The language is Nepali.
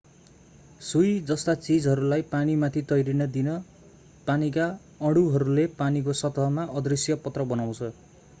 सुई जस्ता चीजहरूलाई पानीमाथि तैरिन दिन पानीका अणुहरूले पानीको सतहमा अदृश्य पत्र बनाउँछ